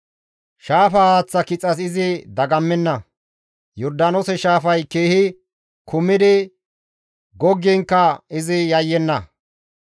Shaafa haaththa kixas izi dagammenna; Yordaanoose shaafay keehi kumidi goggiinkka izi yayyenna.